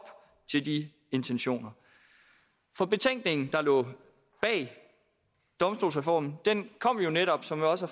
til de intentioner betænkningen der lå bag domstolsreformen kom jo netop som jeg også